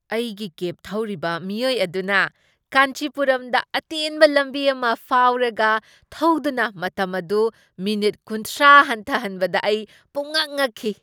ꯑꯩꯒꯤ ꯀꯦꯕ ꯊꯧꯔꯤꯕ ꯃꯤꯑꯣꯏ ꯑꯗꯨꯅ ꯀꯥꯟꯆꯤꯄꯨꯔꯝꯗ ꯑꯇꯦꯟꯕ ꯂꯝꯕꯤ ꯑꯃ ꯐꯥꯎꯔꯒ ꯊꯧꯗꯨꯅ ꯃꯇꯝ ꯑꯗꯨ ꯃꯤꯅꯤꯠ ꯀꯨꯟꯊ꯭ꯔꯥ ꯍꯟꯊꯍꯟꯕꯗ ꯑꯩ ꯄꯨꯝꯉꯛ ꯉꯛꯈꯤ꯫